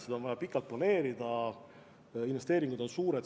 Seda on vaja pikalt planeerida, investeeringud on suured.